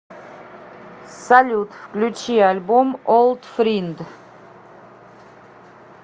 салют включи альбом олд фринд